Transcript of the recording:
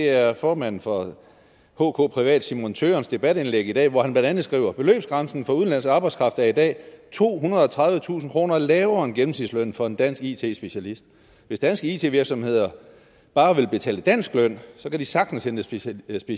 er formanden for hkprivat simon tøgerns debatindlæg i dag hvor han blandt andet skriver beløbsgrænsen for udenlandsk arbejdskraft er i dag tohundrede og tredivetusind kroner lavere end gennemsnitslønnen for en dansk it specialist hvis danske it virksomheder bare vil betale dansk løn så kan de sagtens hente specialister